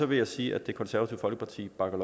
vil jeg sige at det konservative folkeparti bakker